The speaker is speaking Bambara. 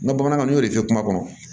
N ka bamanankan n y'o de fɔ kuma kɔnɔ